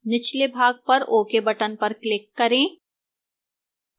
निचले भाग पर ok button पर click करें